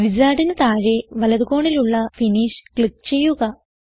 Wizardന് താഴെ വലത് കോണിലുള്ള ഫിനിഷ് ക്ലിക്ക് ചെയ്യുക